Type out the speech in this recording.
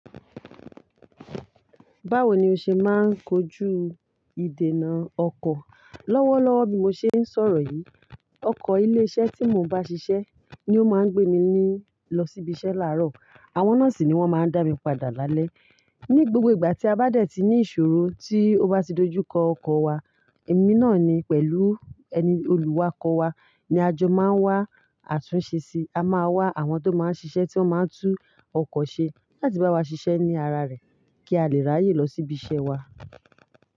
Báwo ni o ṣe máa ń kojú ìdènà ọkọ̀? Lọ́wọ́lọ́wọ́ bí mo ṣe ń sọ̀rọ̀ yìí, ọkọ ilé iṣẹ́ tí mo nbá ṣiṣẹ́ ni ó máa ń gbé mi ní lọ síbi iṣẹ́ làárọ̀, àwọn náà sì ni wọ́n máa ń dá mi padà lálẹ́. Ni gbogbo ìgbà tí a bá dẹ̀ ti ní ìṣòro tí ó bá ti dojú kọ ọkọ̀ wa, èmi náà ni pẹ̀lú ẹni olùwá ọkọ̀ wa ni a jọ máa ń wá àtúnṣe síi. A máa wá àwọn tó máa ń ṣiṣẹ́ tí wọ́n máa ń tú ọkọ̀ ṣe láti bá wa ṣiṣẹ́ ní ara rẹ̀ kí a lè ráyè lọ sí ibi iṣẹ́ wa.